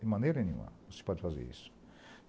De maneira nenhuma você pode fazer isso.